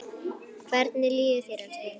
Hvernig líður þér, elskan?